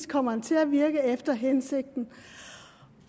kommer til at virke efter hensigten